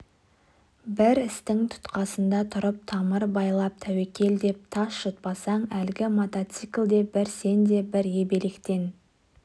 бір істің тұтқасында тұрып тамыр байлап тәуекел деп тас жұтпасаң әлгі мотоцикл де бір сен де бір ебелектен